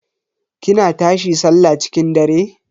kina tashi sallah cikin dare?